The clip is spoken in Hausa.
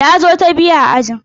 Na zo ta biyu a ajin.